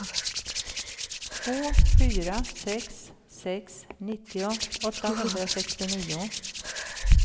två fyra sex sex nittio åttahundrasextionio